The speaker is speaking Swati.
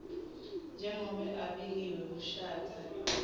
njengobe abekiwe kushatha